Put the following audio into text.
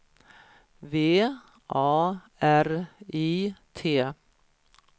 V A R I T